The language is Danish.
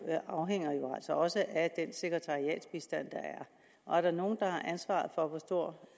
afhænger jo altså også af den sekretariatsbistand der er og er der nogen der har ansvar for hvor stor